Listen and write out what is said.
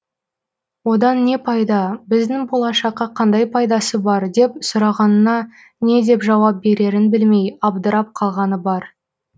одан не пайда біздің болашаққа қандай пайдасы бар деп сұрағанына не деп жауап берерін білмей абдырап қалғаны бар